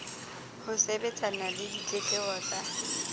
ho sebetsana le ditletlebo tsa